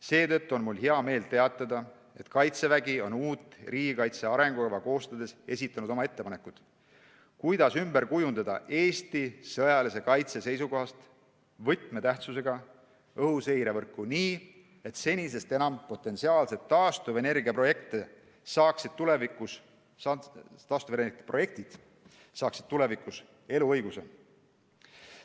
Seetõttu on mul hea meel teatada, et Kaitsevägi on uut riigikaitse arengukava koostades esitanud oma ettepanekud, kuidas ümber kujundada Eesti sõjalise kaitse seisukohast võtmetähtsusega õhuseirevõrku nii, et potentsiaalsed taastuvenergiaprojektid saaksid tulevikus senisest enam eluõiguse.